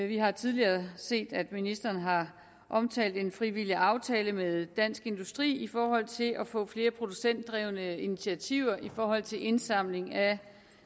vi har tidligere set at ministeren har omtalt en frivillig aftale med dansk industri i forhold til at få flere producentdrevne initiativer i forhold til indsamling af